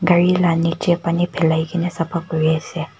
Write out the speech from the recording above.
gari la nichey pani philai kina sapa kuri ase.